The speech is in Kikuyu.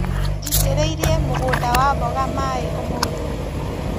Njitĩrĩirie mũgũnda wa mboga maĩ ũmũthĩ.